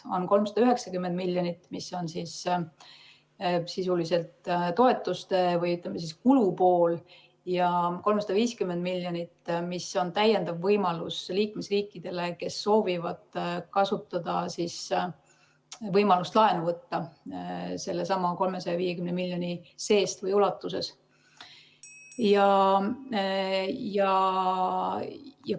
On 390 miljonit, mis on sisuliselt toetuste või, ütleme, kulupool, ja 350 miljonit, mis on täiendav võimalus liikmesriikidele, kes soovivad kasutada võimalust võtta laenu sellesama 350 miljoni ulatuses.